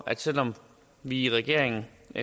selv om vi i regeringen